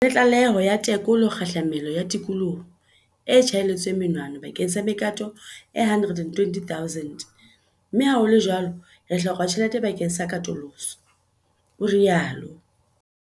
"Re na le tlaleho ya tekolo kgahlamelo ya tikoloho e tjhaelletsweng monwana bakeng sa mekato e 120 000 mme ha ho le jwalo re hloka tjhelete bakeng sa katoloso," o rialo.